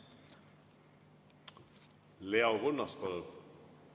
Leo Kunnas, palun!